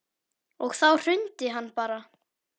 Og þá hrundi hann bara.